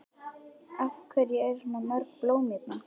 Af hverju eru svona mörg blóm hérna?